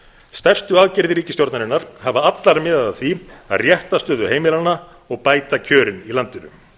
stærstu aðgerðir ríkisstjórnarinnar hafa allar miðað að því að rétta stöðu heimilanna og bæta kjörin í landinu